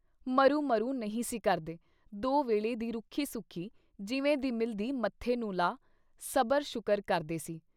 “ਮਰੁੰ ਮਹੁੰ ਨਹੀਂ ਸੀ ਕਰਦੇ ਦੋ ਵੇਲੇ ਦੀ ਰੁੱਖੀ-ਸੁੱਖੀ ਜਿਵੇਂ ਦੀ ਮਿਲਦੀ ਮੱਥੇ ਨੂੰ ਲਾ, ਸਬਰ ਸ਼ੁਕਰ ਕਰਦੇ ਸੀ।